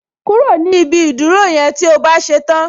Kúrò ni ibi ìdúró yẹn tí o bá ṣe tán